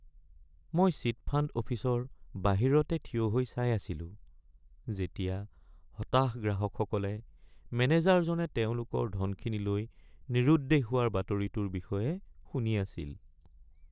মই chit fund অফিচৰ বাহিৰতে থিয় হৈ চাই আছিলো যেতিয়া হতাশ গ্ৰাহকসকলে মেনেজাৰজনে তেওঁলোকৰ ধনখিনি লৈ নিৰুদ্দেশ হোৱাৰ বাতৰিটোৰ বিষয়ে শুনি আছিল।